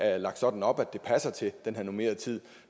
er lagt sådan op at det passer til den her normerede tid